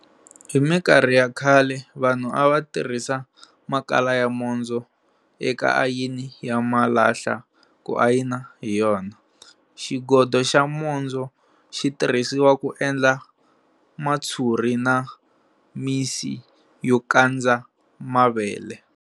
Hi mikarhi liya ya khale, vanhu a va tirhisa makala ya mondzo eka ayini ya malahla ku ayina hi yona. Xigodo xa mondzo xi tirhisiwa ku endla matshuri na misi yo kandza mavele.